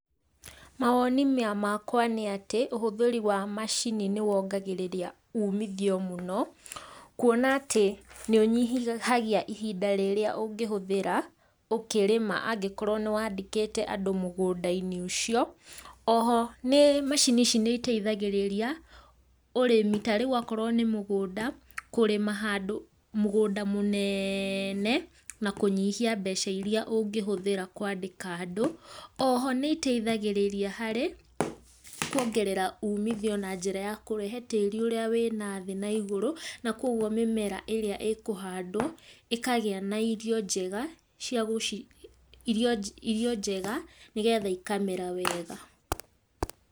Mawoni makwa nĩ atĩ ũhũthĩri wa macini nĩwongagĩrĩria ũmithio mũno kuona atĩ nĩũnyihagia ihinda rĩrĩa ũngĩhũthĩra ũkĩrĩma angĩkorwo nĩ wandĩkĩte andũ mũgũndainĩ ũcio, oho macini ici nĩiteithagĩrĩria ũrĩmi ta rĩu akorwo nĩ mũgũnda kũrĩma handũ mũgũnda mũnene na kũnyihia mbeca iria ũngĩhũthĩra kwandĩka andũ, oho nĩiteithagĩrĩria harĩ kuongerera ũmĩthio na njĩra ya kũrehe tĩri ũrĩa na thĩ na igũrũ na koguo mĩmera irĩa ĩkũhandwo ĩkagĩa na irio njega nĩgetha ikamera wega.